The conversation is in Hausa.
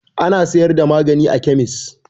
Ana siyar da magani a kemis.